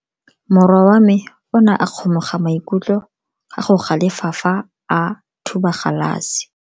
Morwa wa me o ne a kgomoga maikutlo ka go galefa fa a thuba galase.